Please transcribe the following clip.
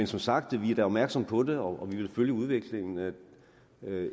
som sagt er vi da opmærksomme på det og vi vil følge udviklingen